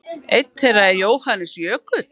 Einn þeirra er Jóhannes Jökull.